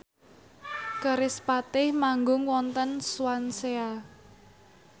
kerispatih manggung wonten Swansea